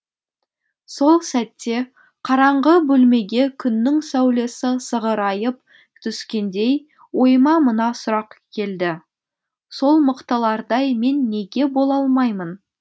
сол сәтте қараңғы бөлмеге күннің сәулесі сығырайып түскендей ойыма мына сұрақ келді сол мықтылардай мен неге бола алмаймын